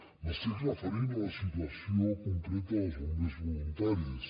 m’estic referint a la situació concreta dels bombers voluntaris